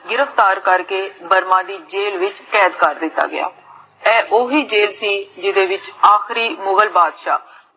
ਗਿਰਫਤਾਰ ਕਰ ਕੇ ਬਰਮਾ ਦੀ jail ਵਿੱਚ ਕੈਦ ਕਰ ਦਿੱਤਾ ਗਿਆ ਇਹ ਓਹੀ jail ਸੀ ਜਿਦੇ ਵਿਚ ਆਪਰੀ ਮੁਗ੍ਹਲ ਬਾਦਸ਼ਾ